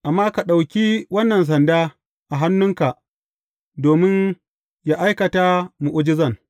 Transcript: Amma ka ɗauki wannan sanda a hannunka domin yă aikata mu’ujizan.